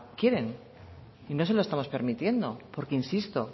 quiere y no se lo estamos permitiendo porque insisto